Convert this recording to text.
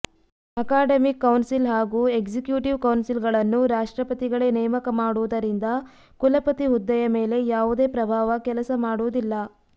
academic council ಹಾಗೂ executive ಕೌನ್ಸಿಲ್ಗಳನ್ನು ರಾಷ್ಟ್ರಪತಿಗಳೇ ನೇಮಕ ಮಾಡುವುದರಿಂದ ಕುಲಪತಿ ಹುದ್ದೆಯ ಮೇಲೆ ಯಾವುದೇ ಪ್ರಭಾವ ಕೆಲಸ ಮಾಡುವುದಿಲ್ಲ